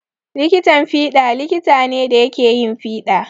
Likitan fiɗa likita ne da yake yin fiɗa.